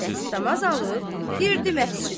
Dəstəmaz alıb, girdi məscidə.